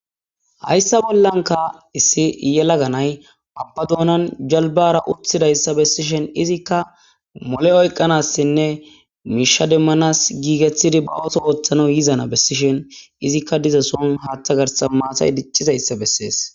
Hayssa bollanka issi yelaganay babbadoonan jalbara uthidayssa bessishen izikka mole oyqanassinne miisha demmanas giikethidi ba ooso ooththana yizana bessishen izikka diza soon haaththa garsan maatay diccizayssa bessees.